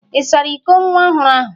Ị sara iko nwa ohụrụ ahụ?